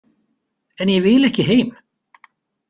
En ég vil ekki heim.